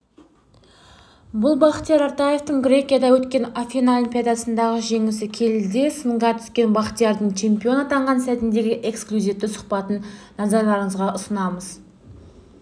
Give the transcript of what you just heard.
бұл бақтияр артаевтың грекияда өткен афина олимпиадасындағы жеңісі келіде сынға түскен бақтиярдың чемпион атанған сәтіндегі эксклюзивті сұхбатын назарларыңызға ұсынымыз